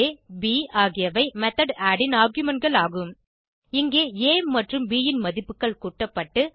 aப் ஆகியவை method add ன் argumentகள் ஆகும் இங்கே ஆ மற்றும் ப் ன் மதிப்புகள் கூட்டப்பட்டு